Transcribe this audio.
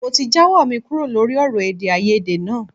Mo ti jáwọ́ mi kúrò lórí ọ̀rọ̀ èdèàìyedè náà